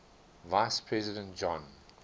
vice president john